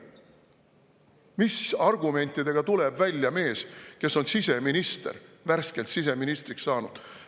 Mis argumentidega tuleb välja mees, kes on siseminister, värskelt siseministriks saanud?